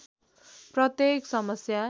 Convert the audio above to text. प्रत्येक समस्या